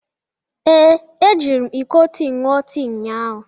Ee, ejiri m iko tii ṅụọ tii ụnyahụ.